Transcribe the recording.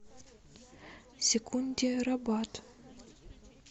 секундерабад